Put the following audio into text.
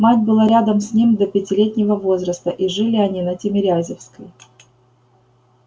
мать была рядом с ним до пятилетнего возраста и жили они на тимирязевской